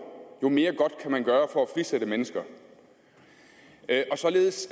jo mere godt kan man gøre for at frisætte mennesker således